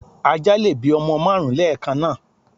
Ajá lè bí ọmọ márùn ún lẹ́kànáà